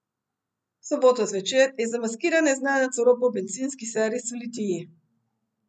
V soboto zvečer je zamaskiran neznanec oropal bencinski servis v Litiji.